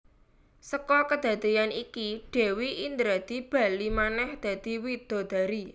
Seka kadadeyan iki Dewi Indradi bali manèh dadi widodari